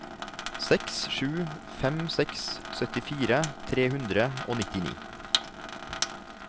seks sju fem seks syttifire tre hundre og nittini